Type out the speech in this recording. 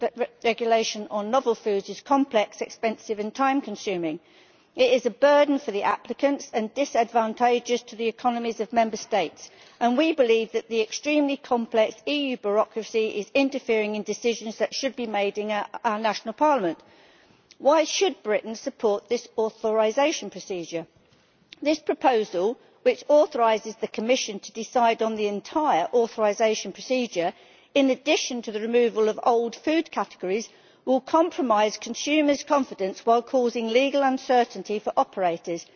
regulation on novel foods is complex, expensive and time consuming. It is a burden for the applicants and disadvantageous to the economies of Member States, and we believe that the extremely complex EU bureaucracy is interfering in decisions that should be made in our national parliament. Why should Britain support this authorisation procedure? This proposal, which authorises the Commission to decide on the entire authorisation procedure in addition to the removal of old food categories, will compromise consumers' confidence while causing legal uncertainty for operators.